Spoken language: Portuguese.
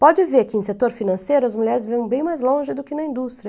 Pode ver que no setor financeiro as mulheres vivem bem mais longe do que na indústria.